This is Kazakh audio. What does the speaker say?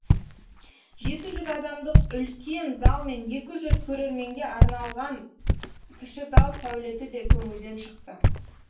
жеті жүз адамдық үлкен зал мен екі жүз көрерменге арналаған кіші зал сәулеті де көңілден шықты